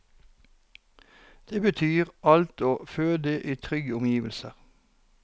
Det betyr alt å føde i trygge omgivelser.